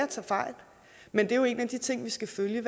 tager fejl men det er jo en af de ting vi skal følge